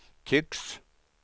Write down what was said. tycks